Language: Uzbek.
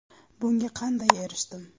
Bunga qanday erishdim?